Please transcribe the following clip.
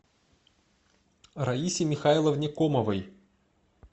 раисе михайловне комовой